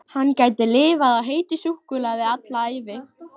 Hann gæti lifað á heitu súkkulaði alla ævi!